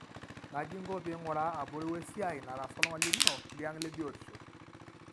kaji ingoo pingura abori we siai nataasa oltungani lino liang lebiotisho?